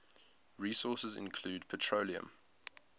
resources include petroleum